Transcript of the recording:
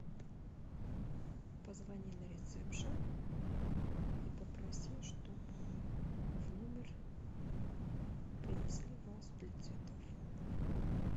позвони на ресепшн и попроси чтобы в номер принесли вазу для цветов